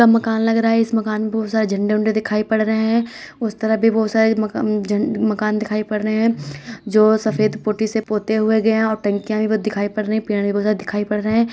मकान लग रहा है इस मकान में बहुत सारे झंडे ओंडे दिखाई पड़ रहे हैं उस तरफ भी बहुत सारे मकान झंड मकान दिखाई पड़ रहे हैं जो सफ़ेद पुट्टी से पोते हुए गए हैं और टंकीयाँ भी बहुत दिखाई पड़ रही हैं पेड़ भी बहुत दिखाई पड़ रहे हैं।